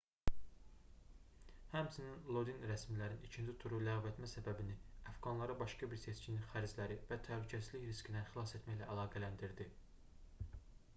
həmçinin lodin rəsmilərin ikinci turu ləğv etmə səbəbini əfqanları başqa bir seçkinin xərcləri və təhlükəsizlik riskindən xilas etməklə əlaqələndirdi